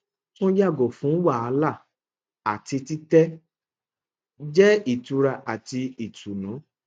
tun yago fun wahala ati titẹ jẹ itura ati itunu